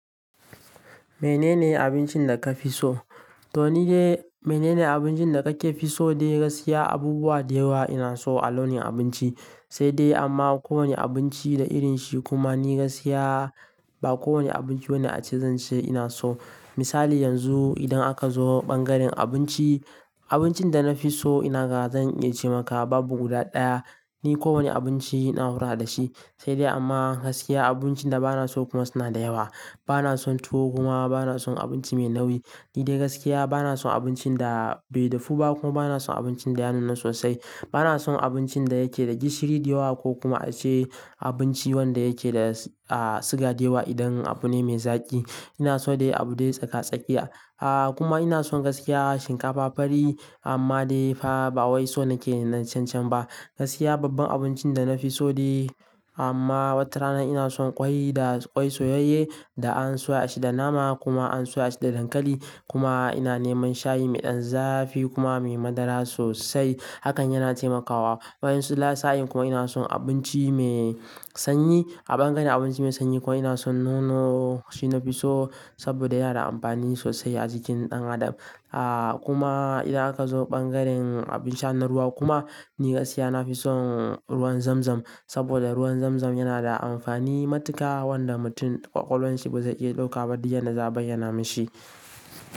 Menene abincin da ka fi so? To ni dai menene abincin da kake fi so dai gaskiya abubuwa da yawa ina so a launin abinci sai dai amma ko wane abinci da irinshi kuma ni gaskiya ba kowane abinci bane ace zan ce ina so. Misali yanzu idan aka zo ɓangaren abinci, abincin da na fi so ina ga zan iya ce maka babu guda ɗaya. Ni ko wane abinci ina hakura da shi sai dai amma gaskiya abincin da bana so kuma suna da yawa. Bana son tuwo kuma bana son abinci mai nauyi. Ni dai gaskiya bana son abincin da bai dafu ba kuma bana son abincin da ya nuna sosai. Bana son abincin da yake da gishiri da yawa ko kuma ace abinci wanda yake da siga da yawa idan abu ne mai zaƙi. Ina so dai abu dai tsaka-tsakiya. Ah kuma ina son gaskiya shinkafa fari amma dai fa ba wai so nake na cancan ba. Gaskiya babban abincin da na fi so dai amma watarana ina son ƙwai da ƙwai soyayye da an soya shi da nama kuma an soya shi da dankali kuma ina neman shayi mai ɗan zafi kuma mai madara sosai hakan yana taimakawa. Wa'yansu lasa'in kuma ina son abinci mai sanyi. A ɓangaren abinci mai sanyi kuma ina son nono shi na fi so saboda yana da amfani sosai a jikin ɗan adam. Ah kuma idan aka zo ɓangaren abin sha na ruwa kuma ni gaskiya na fi son ruwan zamzam saboda ruwan zamzam yana da amfani matuƙa wanda mutum ƙwaƙwalanshi ba zai iya ɗauka ba. Di yanda za'a bayyana mishi.